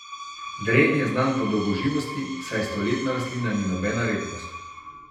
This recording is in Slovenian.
Dren je znan po dolgoživosti, saj stoletna rastlina ni nobena redkost.